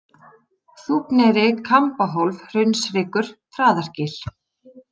Þúfneyri, Kambahólf, Hraunshryggur, Traðargil